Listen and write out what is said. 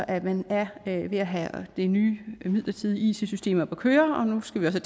at man er ved at have det nye midlertidige it system oppe at køre og nu skal vi også